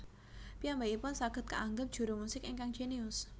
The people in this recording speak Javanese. Piyambakipun saged kaangep juru musik ingkang jénius